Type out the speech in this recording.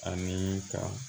Ani ka